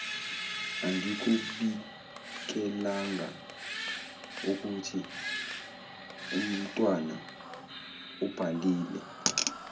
angikubikelangaukuthi umtwana ubhalile